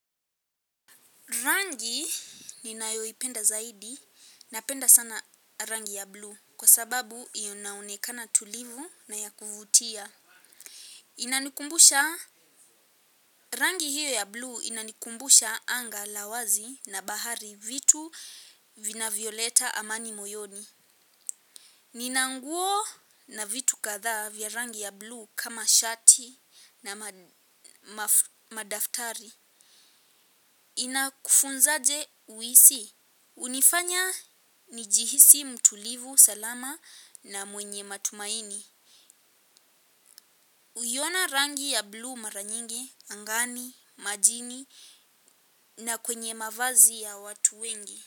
Rangi ninayoipenda zaidi napenda sana rangi ya bluu kwa sababu inaonekana tulivu na ya kuvutia. Inanikumbusha rangi hiyo ya bluu inanikumbusha anga la wazi na bahari vitu vinavyoleta amani moyoni. Nina nguo na vitu kadhaa vya rangi ya bluu kama shati na madaftari. Inakufunzaje uhisi hunifanya nijihisi mtulivu salama na mwenye matumaini. Huiona rangi ya bluu mara nyingi, angani, majini na kwenye mavazi ya watu wengi.